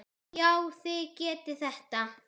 Já, þið getið þetta.